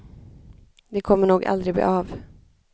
Det kommer nog aldrig bli av.